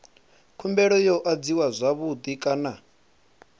khumbelo yo adziwa zwavhui kana